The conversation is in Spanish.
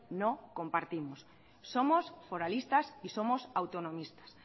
no compartimos somos foralistas y somos autonomistas